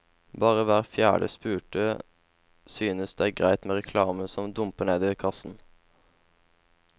Bare hver fjerde spurte synes det er greit med reklamen som dumper ned i kassen.